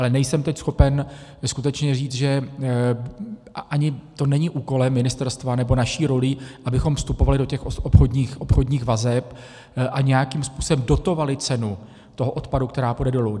Ale nejsem teď schopen skutečně říct, a ani to není úkolem ministerstva, nebo naší rolí, abychom vstupovali do těch obchodních vazeb a nějakým způsobem dotovali cenu toho odpadu, která půjde dolů.